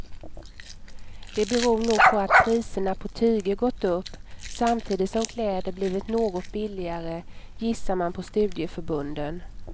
Det beror nog på att priserna på tyger gått upp, samtidigt som kläder blivit något billigare, gissar man på studieförbunden.